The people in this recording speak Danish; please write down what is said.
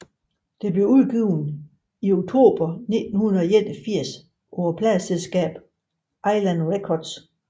Det blev udgivet i oktober 1981 på pladeselskabet Island Records